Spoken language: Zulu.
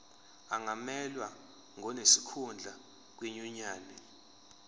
angamelwa ngonesikhundla kwinyunyane